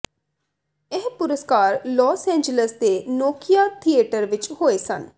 ਇਹ ਪੁਰਸਕਾਰ Los Angeles ਦੇ ਨੋਕੀਆ ਥੀਏਟਰ ਵਿਚ ਹੋਏ ਸਨ